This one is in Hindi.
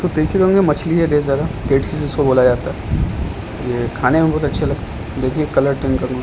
तो देख ही रहे होंगे मछली है ढेर सारा इसको बोला जाता है। ये खाने में बहुत अच्छे लगते हैं। देखिए कलर --